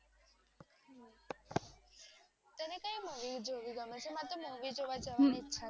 કઈ મૂવી જોવી તમે એ મારે તો મૂવી જોવા જવાનું